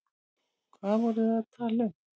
Hvað voru þau að tala um?